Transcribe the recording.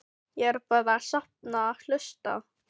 Ég er bara að safna og hlusta.